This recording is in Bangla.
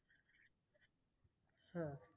হ্যাঁ